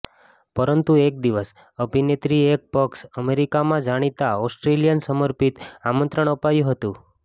પરંતુ એક દિવસ અભિનેત્રી એક પક્ષ અમેરિકામાં જાણીતા ઓસ્ટ્રેલિયન સમર્પિત આમંત્રણ અપાયું હતું